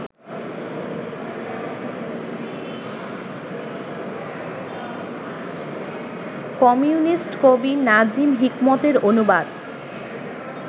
communist কবি Nazim হিকমতের অনুবাদ